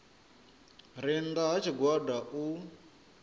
re nnda ha tshigwada u